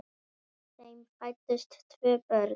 Þeim fæddust tvö börn.